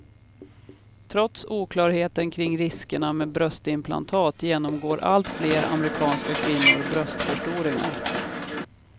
Trots oklarheten kring riskerna med bröstimplantat genomgår alltfler amerikanska kvinnor bröstförstoringar.